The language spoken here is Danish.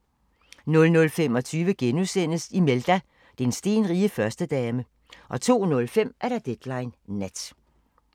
00:25: Imelda – den stenrige førstedame * 02:05: Deadline Nat